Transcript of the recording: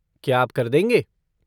क्या आप कर देंगे?